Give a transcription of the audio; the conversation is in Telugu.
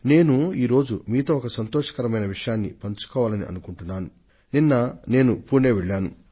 నేను ఒక ఆనందదాయకమైన సంగతిని మీతో పంచుకోవాలని అనుకుంటున్నాను